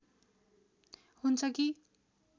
हुन्छ कि